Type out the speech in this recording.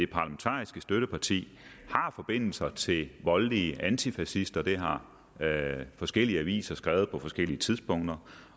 parlamentariske støtteparti har forbindelser til voldelige antifascister det har forskellige aviser skrevet på forskellige tidspunkter